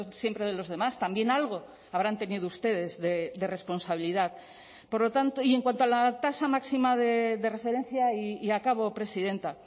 siempre de los demás también algo habrán tenido ustedes de responsabilidad por lo tanto y en cuanto a la tasa máxima de referencia y acabo presidenta